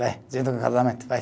Vai, junto com o casamento, vai.